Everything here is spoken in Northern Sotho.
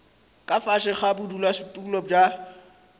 ka fase ga bodulasetulo bja